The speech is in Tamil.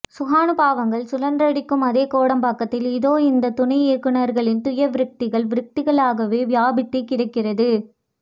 சுகானுபவாங்கள் சுழன்றடிக்கும் அதே கோடம்பாக்கத்தில் இதோ இந்த துணை இயக்குநர்களின் துயர விரக்திகள் விரக்திகளாகவே வியாபித்தே கிடக்கிறது